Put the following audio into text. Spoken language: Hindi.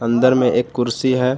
अंदर में एक कुर्सी है।